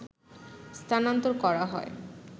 স্থানান্তর করা হয়